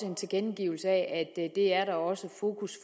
en tilkendegivelse af at det er der også fokus